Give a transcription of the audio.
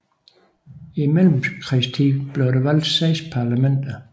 I mellemkrigstiden blev der valgt seks parlamenter